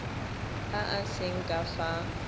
a a seng ka fa